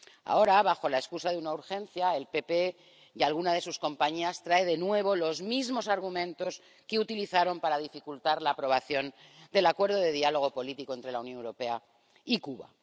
Ahora, bajo la excusa de una urgencia, el PP y alguna de sus compañías traen de nuevo los mismos argumentos que utilizaron para dificultar la aprobación del Acuerdo de Diálogo Político entre la Unión Europea y Cuba.